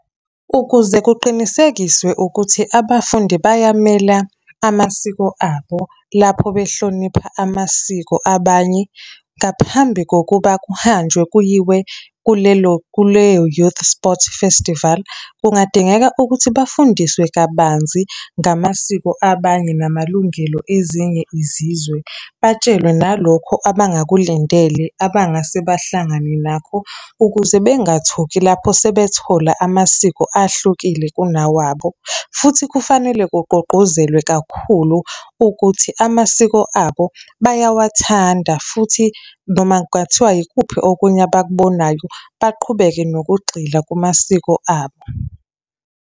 Ukuze kuqinisekiswe ukuthi abafundi bayamela amasiko abo, lapho behlonipha amasiko abanye. Ngaphambi kokuba kuhanjwe kuyiwe kulelo, kuleyo-youth sport festival, kungadingeka ukuthi bafundiswe kabanzi ngamasiko abanye, namalungelo ezinye izizwe. Batshelwe nalokho abangakulindele abangase bahlangane nakho, ukuze bangathuki lapho sebethola amasiko ahlukile kunawabo. Futhi kufanele kugqugquzelwe kakhulu ukuthi amasiko abo bayawathanda, futhi noma ngathiwa ikuphi okunye, abakubonayo baqhubeke nokugxila kumasiko abo.